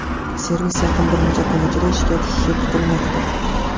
Servis yaqin bir necha kun ichida ishga tushishi kutilmoqda.